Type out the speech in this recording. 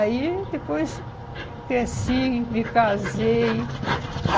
Aí, depois, cresci, me casei.